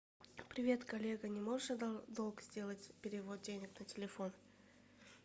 привет коллега не можешь в долг сделать перевод денег на телефон